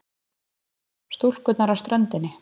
Stúlkuna á ströndinni.